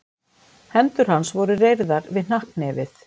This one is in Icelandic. Hendur hans voru reyrðar við hnakknefið.